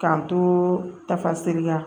K'an to tafaseri kan